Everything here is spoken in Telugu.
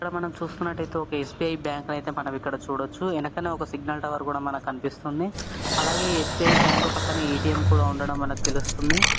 చూస్తున్నట్టయితే ఒక ఎస్_బి_ఐ బ్యాంకు ని మనం ఇక్కడ చూడొచ్చు. వెనుకన సిగ్నల్ టవర్ కూడా కనిపిస్తుంది. అలాగే ఎస్_బి_ఐ బ్యాంక్ పక్కన ఎ_టి_ఎం ఉండడం మనకు తెలుస్తుంది.